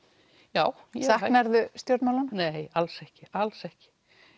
já já saknar þú stjórnmálanna nei alls ekki alls ekki